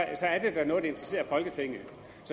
er noget der interesserer folketinget